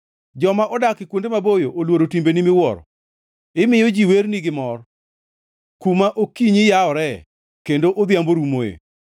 Joma odak kuonde maboyo oluoro timbeni miwuoro, imiyo ji werni gimor, kuma okinyi yaworee kendo odhiambo rumoe.